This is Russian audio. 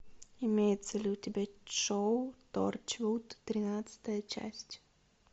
имеется ли у тебя шоу торчвуд тринадцатая часть